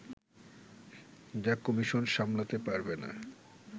যা কমিশন সামলাতে পারবে না